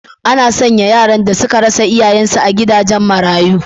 Ana sanya yaran da suka rasa iyayensu a gidajen marayu.